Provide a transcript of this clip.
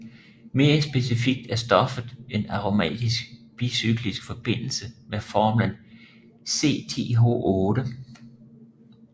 Mere specifikt er stoffet en aromatisk bicyklisk forbindelse med formlen C10H8